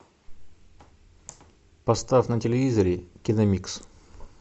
поставь на телевизоре киномикс